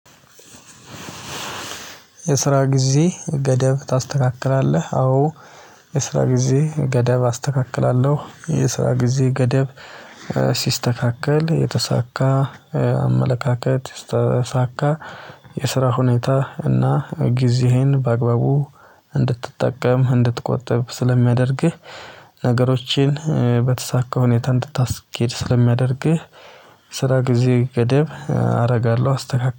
የስራ ጊዜ ገደብ ታስተካክላለህ? አዎ። የስራ ጊዜ ገደብ አስተካክላለሁ የስራ ጊዜ ገደብ ሲስተካከል የተሳካ አመለካከት የተሳካ። የስራ ሁኔታ እና ጊዜህን በአግባቡ እንድትጠቀም እንድትቆጥብ ስለሚያደርግህ። ነገሮችን በተሳካ ሁኔታ እንድታስኬድ ስለሚያደርግህ። ስራ ጊዜ ገደብ አደርጋለሁ አስተካክላለሁ